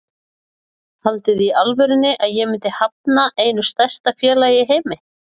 Haldiði í alvörunni að ég myndi hafna einu stærsta félagi í heimi?